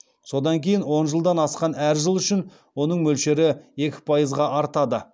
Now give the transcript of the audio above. содан кейін он жылдан асқан әр жыл үшін оның мөлшері екі пайызға артады